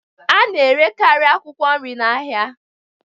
A na-erekarị akwụkwọ nri na ahịa